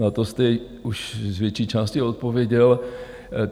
Na to jste už z větší části odpověděl.